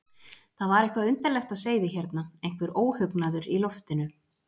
Það var eitthvað undarlegt á seyði hérna, einhver óhugnaður í loftinu.